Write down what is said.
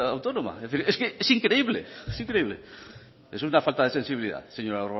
autónoma es decir es que es increíble es increíble es una falta de sensibilidad señor